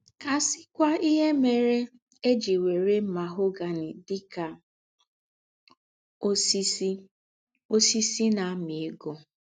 Kà à síkwá íhe mère è jí èwèrè mahogany dị̀ ka ósìsì ósìsì ná-àmí égó.